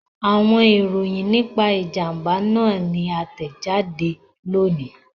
Awọn iroyin nipa ijamba naa ni a tẹjade loni